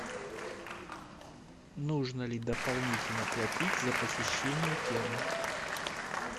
нужно ли дополнительно платить за посещение терм